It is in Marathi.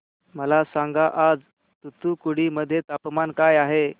मला सांगा आज तूतुकुडी मध्ये तापमान काय आहे